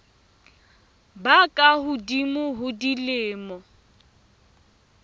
ba ka hodimo ho dilemo